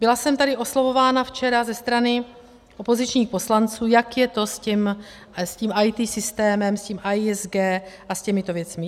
Byla jsem tady oslovována včera ze strany opozičních poslanců, jak je to s tím IT systémem, s tím AISG a s těmito věcmi.